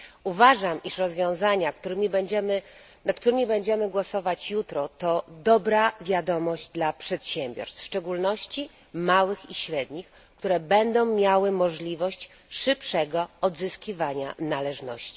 Uważam, iż rozwiązania, nad którymi będziemy głosować jutro to dobra wiadomość dla przedsiębiorstw, w szczególności małych i średnich, które będą miały możliwość szybszego odzyskiwania należności.